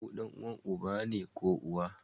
Kawu danuwan uba ne ko uwa